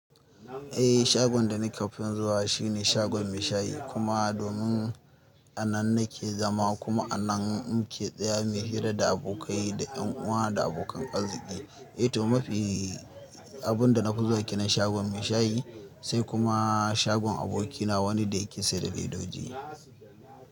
Eh shagon da ni ƙafin zuwa shine shagon mai shayi kuma domin a nan nake zama kuma a nan muke tsaya mu yi hira da abokai da yan uwa da abokan arziki. Eh toh mafi abun da nafi zuwa kenan shagon mai shayi sai kuma shagon abokina wani da yake siyar da ledodi.